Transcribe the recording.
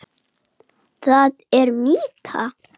Þig umvefji blessun og bænir.